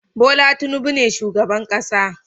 Bola Tinubu ne shugaban kasa